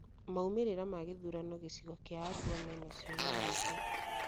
Maumĩrĩra ma gĩthurano gĩcigo gĩa Arua mena ciũria nyingĩ